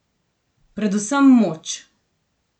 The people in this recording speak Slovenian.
Predvsem moč.